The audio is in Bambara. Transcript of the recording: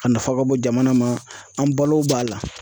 A nafa ka bon jamana ma an balo b'a la.